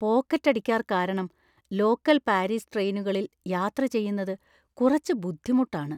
പോക്കറ്റടിക്കാര്‍ കാരണം local Paris ട്രെയിനുകളിൽ യാത്ര ചെയ്യുന്നത് കുറച്ച് ബുദ്ധിമുട്ടാണ്.